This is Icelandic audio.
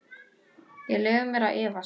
Ég leyfi mér að efast.